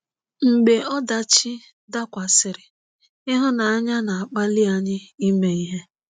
Mgbe ọdachi dakwasịrị, ịhụnanya na-akpali anyị ime ihe.